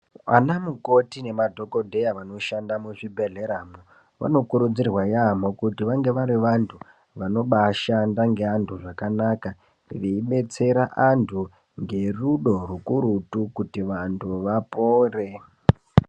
Vanamukoti nemadhokodheya vanoshanda muzvibhehleramwo vanokurudzirwa yambo kuti vange vari vantu vanobashanda neantu zvakanaka. Veibetsera vantu ngerudo hukurutu kuti vantu vapore .